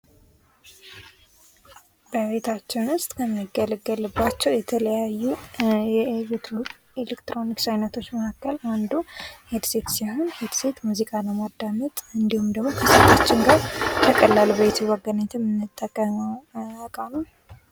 በቤታችን ውስጥ ከምንገለገልባቸው የተለያዩ ኤሌክትሮኒክስ አይነቶች መካከል አንዱ ሂድ ሴት ሲሆን ሂድሴት ሙዚቃ ለማዳመጥ እንድሁም ደግሞ ከስልካችን ጋር በቀላሉ በብሉቱዝ አገናኝተን የምንጠቀመው እቃ ነው።